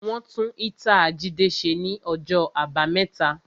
Wọn tún ítàa Jídé ṣe ní ọjọ́ àbámẹ́ta